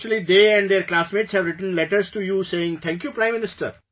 Actually they and their classmates have written letters to you saying Thank you Prime Minister